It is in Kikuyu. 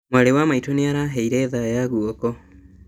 Mwarĩ wa maitũ nĩaraheire thaa ya guoko